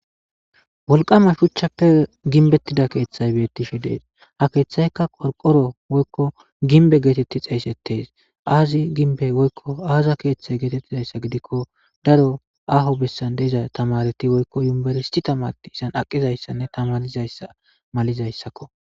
wolqama shuchchappe ginbettida keeththay beettisho dees ha keeththaykka qorqoro woykko ginbe geetetti xeeysettees aazi ginbe woykko aaza keeththey geetettizayssa gidikko daro aho bessan deiza tamareti woykko yumberisti tamati isan aqizayssanne tamanizayssa malizayssakko